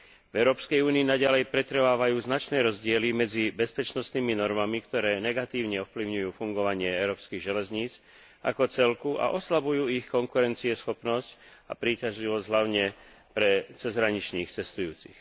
V Európskej únii naďalej pretrvávajú značné rozdiely medzi bezpečnostnými normami, ktoré negatívne ovplyvňujú fungovanie európskych železníc ako celku a oslabujú ich konkurencieschopnosť a príťažlivosť hlavne pre cezhraničných cestujúcich.